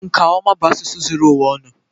nkà ọma bụ asụsụ zuru ụwa ọnụ